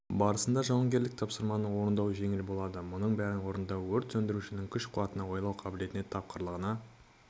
барысында жауынгерлік тапсырманы орындау жеңіл болады мұның бәрін орындау өрт сөндірушінің күш-қуатына ойлау қабілетіне тапқырлығына